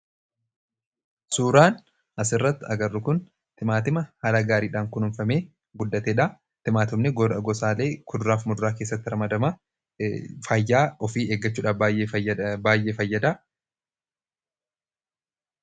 Suuraan asirratti arginu kun timaatima haala gaariidhaan kunuunfamee guddatedha. Timaatimni gosa kuduraa fi muduraa keessatti ramadama. Fayyaa ofii ittiin eeggachuudhaaf baay'ee fayyada.